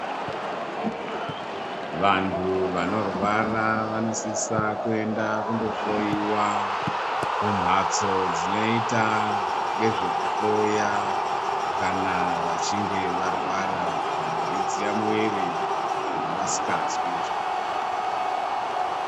Vantu vanorwara vanosisa kuenda kundohloiwa kumhatso dzinoita ngezvekuhloya kana vachinge varwara, kana veidziya mwiri, kana vasikazwi zvakanaka.